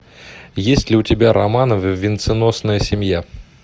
есть ли у тебя романовы венценосная семья